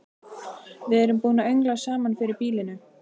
Við erum búin að öngla saman fyrir býlinu.